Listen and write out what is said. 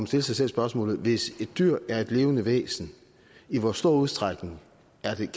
stille sig selv spørgsmålet hvis et dyr er et levende væsen i hvor stor udstrækning